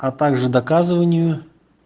а также доказыванию